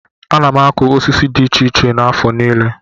Ana m akụ osisi dị iche iche n'afọ niile.